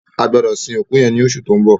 A gbọdọ sin òkú yẹn lọṣu tó ń bọ̀.